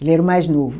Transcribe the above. Ele era o mais novo.